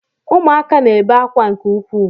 Ụmụaka na-ebe akwa nke ukwuu